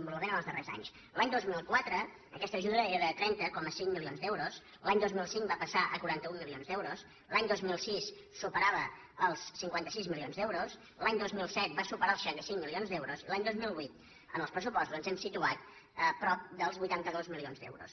envolupament els darrers anys l’any dos mil quatre aquesta ajuda era de trenta coma cinc milions d’euros l’any dos mil cinc va passar a quaranta un milions d’euros l’any dos mil sis superava els cinquanta sis milions d’euros l’any dos mil set va superar els seixanta cinc milions d’euros i l’any dos mil vuit en els pressupostos ens hem situat a prop dels vuitanta dos milions d’euros